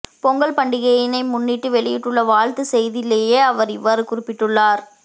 பொங்கல் பண்டிகையினை முன்னிட்டு வெளியிட்டுள்ள வாழ்த்துச் செய்தியிலேயே அவர் இவ்வாறு குறிப்பிட்டுள்ளார்